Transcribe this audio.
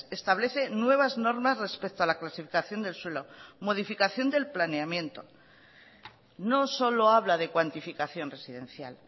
establece nuevas normas respecto a la clasificación del suelo modificación del planeamiento no solo habla de cuantificación residencial